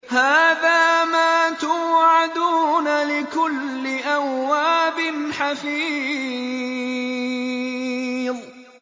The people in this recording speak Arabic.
هَٰذَا مَا تُوعَدُونَ لِكُلِّ أَوَّابٍ حَفِيظٍ